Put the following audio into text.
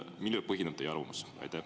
Millel põhineb teie arvamus?